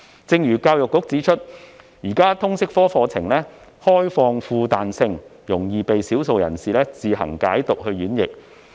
正如教育局指出，現時的通識科課程開放而富彈性，容易被少數人士自行解讀演繹。